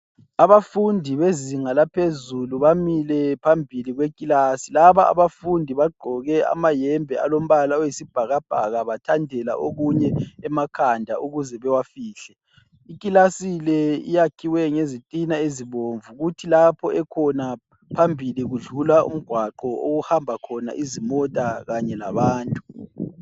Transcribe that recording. Abafundi bezinga laphezulu bamile phambili kwekilasi. Laba abafundi bagqoke amahembe alombala oyisibhakabhaka bathandela okunye emakhanda ukuze bewafihle. Ikilasi le yakhiwe ngezitina ezibomvu kuthi lapho ekhona phambili kudlula umgwaqo ohamba khona izimota kanye labantu.